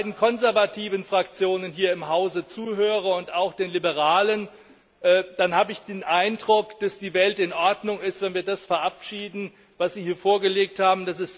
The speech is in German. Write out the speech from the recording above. Wenn ich den beiden konservativen Fraktionen hier im Hause zuhöre und auch den Liberalen, dann habe ich den Eindruck, dass die Welt in Ordnung ist, wenn wir das verabschieden, was sie hier vorgelegt haben.